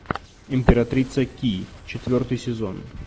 императрица ки четвертый сезон